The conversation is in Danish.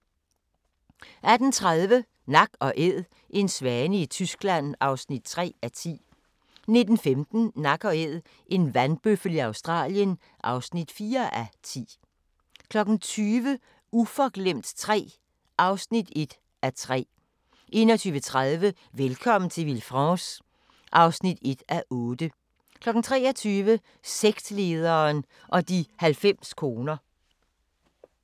18:30: Nak & Æd – en svane i Tyskland (3:10) 19:15: Nak & Æd – en vandbøffel i Australien (4:10) 20:00: Uforglemt III (1:3) 21:30: Velkommen til Villefranche (1:8) 23:00: Sektlederen og de 90 koner 00:40: Mordet på bjerget (2:6)* 01:20: Holocaust i Odessa * 02:15: Deadline Nat